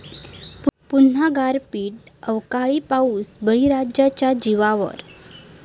पुन्हा गारपीट, अवकाळी पाऊस बळीराजाच्या जीवावर!